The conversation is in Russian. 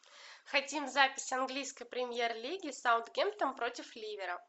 хотим запись английской премьер лиги саутгемптон против ливера